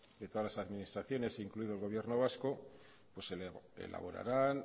que todas las administraciones incluido el gobierno vasco elaborarán